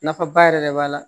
Nafaba yɛrɛ de b'a la